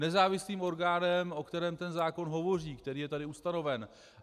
Nezávislým orgánem, o kterém ten zákon hovoří, který je tady ustanoven.